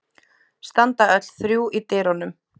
Standa öll þrjú í dyrunum.